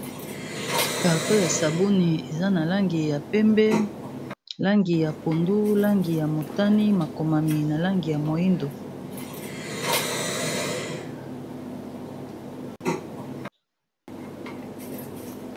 carton ya sabuni eza na langi ya pembe langi ya pondu langi ya motani makomami na langi ya moindo